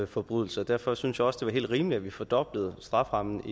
forbrydelse og derfor synes jeg også det var helt rimeligt at vi fordoblede strafferammen